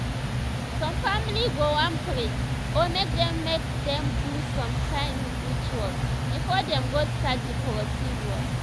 some family go wan pray or mk dem mk dem do some kain rituals before dem go start the procedures